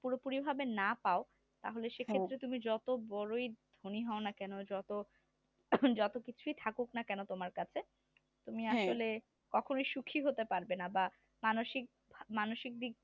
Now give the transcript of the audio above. পুরোপুরিভাবে না পাও তাহলে সেখানে তাহলে সেক্ষেত্রে তুমি যত বড়োই ধনী হও না কেন যত কিছুই থাকুক না কেন তোমার কাছে তুমি আসলে কখনো সুখী হতে পারবে না বা মানসিক দিক থেকে